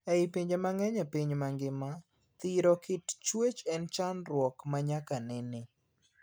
Ei pinje mangeny e piny mangima ,thiro kit chuech en chandruok ma nyaka nene.